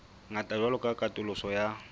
ngata jwalo ka katoloso ya